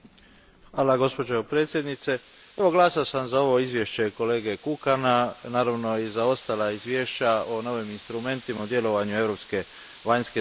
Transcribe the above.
Gospođo predsjednice, glasovao sam za ovo izvješće kolege Kukana, naravno i za ostala izvješća o novim instrumentima u djelovanju europske vanjske službe.